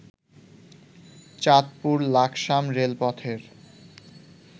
চাঁদপুর লাকসাম রেলপথের